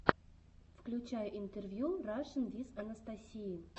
включай интервью рашин виз анастасии